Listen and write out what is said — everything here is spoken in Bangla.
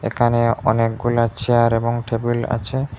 এখানে অনেকগুলা চেয়ার এবং টেবিল আছে।